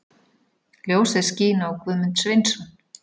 Ljósið skín á Guðmund Sveinsson.